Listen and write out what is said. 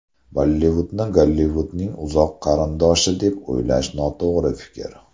Bollivudni Gollivudning uzoq qarindoshi deb o‘ylash noto‘g‘ri fikr.